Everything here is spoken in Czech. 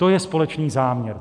To je společný záměr.